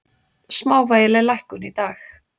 Smávægileg lækkun í dag